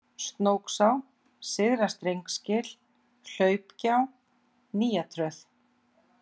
Snóksá, Syðra-Strengsgil, Hlaupgjá, Nýjatröð